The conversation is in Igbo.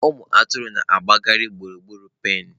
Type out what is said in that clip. Ụmụ atụrụ na-agbagharị gburugburu pen.